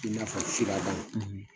I n'a fɔ firadan,